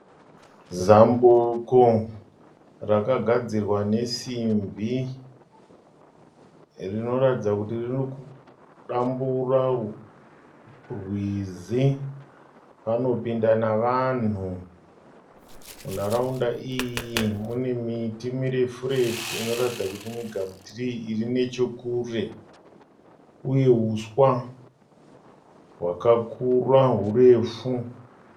Zambuko rakagadzirwa nesimbi. Rinoratidza kuti rinodambura rwizi panopinda navanhu. Munharaunda iyi mune miti mirefu refu inoratidza kuti migamuturii irinechekure inehuswa hwakakura hurefu.